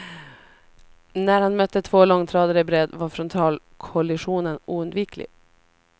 När han mötte två långtradare i bredd var frontalkollisionen oundviklig.